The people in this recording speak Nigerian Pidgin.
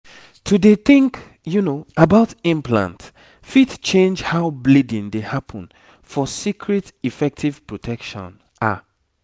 to dey think about implant fit change how bleeding dey happen for secret effective protection ah